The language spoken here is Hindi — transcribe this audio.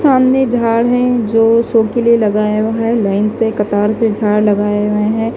सामने झाड़ हैं जो शो के लिए लगाया हुआ है लाइन से कतार से झाड़ लगाए हुए हैं।